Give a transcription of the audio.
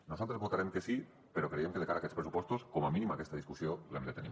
nosaltres votarem que sí però creiem que de cara a aquests pressupostos com a mínim aquesta discussió l’hem de tenir